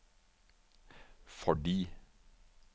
fordi